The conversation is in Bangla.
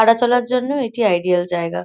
হাঁটা চলার জন্য এটি আইডিয়াল জায়গা।